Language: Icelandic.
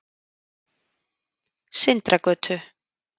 Sindragötu